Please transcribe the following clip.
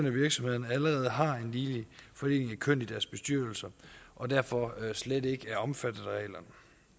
af virksomhederne allerede har en ligelig fordeling af køn i deres bestyrelser og derfor slet ikke er omfattet af reglerne